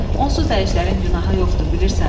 Onsuz da əjdərin günahı yoxdur, bilirsən.